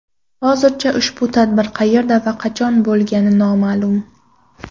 Hozircha ushbu tadbir qayerda va qachon bo‘lgani noma’lum.